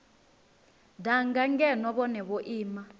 danga ngeno vhone vho ima